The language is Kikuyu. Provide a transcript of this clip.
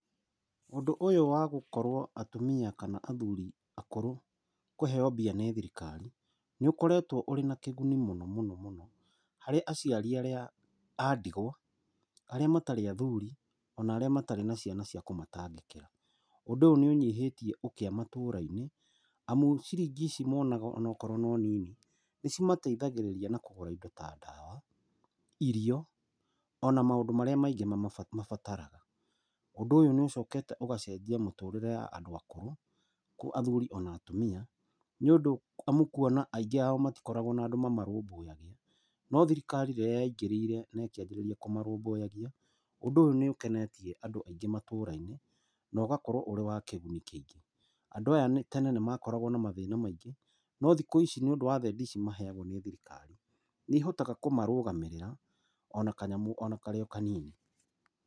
Ũndũ ũyũ wa gũkorwo atumia kana athuri akũrũ kũheo mbia nĩ thirikari, nĩ ũkoretwo ũrĩ na kĩguni mũno mũno mũno harĩ aciari arĩa a ndigwa, arĩa matarĩ athuri, ona arĩa matarĩ na ciana cia kũmatangĩkĩra. Ũndũ ũyũ nĩ ũnyihĩtie ũkĩa matũra-inĩ, amu ciringi ici monaga ona akorwo no nini, nĩ cimateithagĩrĩria na kũgũra indo ta ndawa, irio, ona maũndũ marĩa maingĩ mabataraga. Ũndũ ũyũ nĩ ũcokete ũgacenjia mũtũrĩre ya andũ akũrũ, athuri ona atumia, nĩ ũndũ nĩũkuona aingĩ ao matikoragwo na andũ mamarũmbũyagia, no thirikari rĩrĩa yaingĩrĩire na ĩkíanjĩrĩria kũmarũmbũyagia, ũndũ ũyũ nĩ ũkenetie andũ aingĩ matũra-inĩ, na ũgakorwo wĩ wa kĩguni kĩingĩ. Andũ aya tene ni makoragwo na mathĩna maingĩ, no thikũ ici nĩũndu wa thendi ici maheagwo nĩ thirikari nĩ ihotaga kũmarũgamĩrĩra ona kanyamũ ona karĩ o kanini.